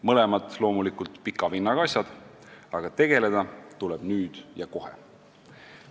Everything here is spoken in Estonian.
Mõlemad on loomulikult pika vinnaga asjad, aga tegeleda tuleb nendega nüüd ja kohe.